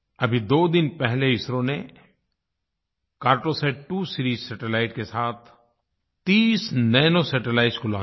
अभी दो दिन पहले इसरो ने Cartosat2 सीरीज सैटेलाइट के साथ 30 नानो सैटेलाइट्स को लॉन्च किया